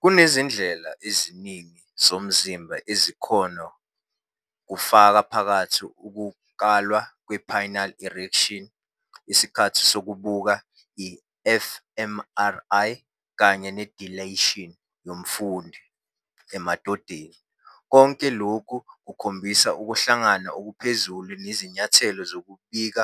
Kunezindlela eziningi zomzimba ezikhona, kufaka phakathi ukukalwa kwe-penile erection, isikhathi sokubuka, i-fMRI, kanye ne-dilation yomfundi. Emadodeni, konke lokhu kukhombisa ukuhlangana okuphezulu nezinyathelo zokuzibika,